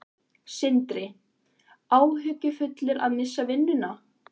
Sindri: Áhyggjufullur að missa vinnuna?